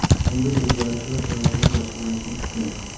Kimdir o‘zgarishi va hayotingiz yaxshilanishini kutmang.